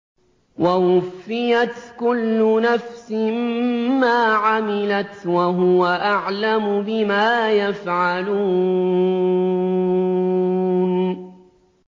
وَوُفِّيَتْ كُلُّ نَفْسٍ مَّا عَمِلَتْ وَهُوَ أَعْلَمُ بِمَا يَفْعَلُونَ